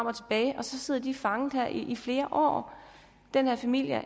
og sådan sidder de fanget i flere år den her familie